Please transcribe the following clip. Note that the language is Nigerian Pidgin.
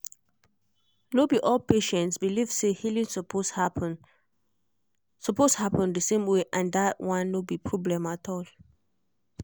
no be all patients believe say healing suppose happen suppose happen the same way and that one no be problem at all.